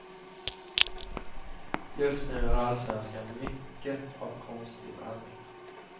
Just nu är allsvenskan mycket av konstgjord andning.